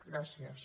gràcies